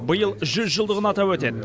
биыл жүз жылдығын атап өтеді